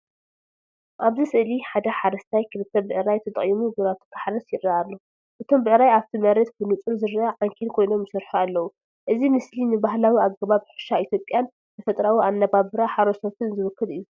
ኣብዚ ስእሊ ሓደ ሓረስታይ ክልተ ብዕራይ ተጠቒሙ ግራቱ ክሓርስ ይርአ ኣሎ። እቶም ብዕራይ ኣብቲ መሬት ብንጹር ዝርአ ዓንኬል ኮይኖም ይሰርሑ ኣለዉ። እዚ ምስሊ ንባህላዊ ኣገባብ ሕርሻ ኢትዮጵያን ተፈጥሮኣዊ ኣነባብራ ሓረስቶትን ዝውክል እዩ።